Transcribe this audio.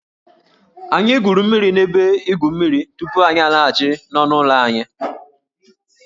Anyị gwuru mmiri n'ebe igwu mmiri tupu anyị alaghachi n'ọnụ ụlọ anyị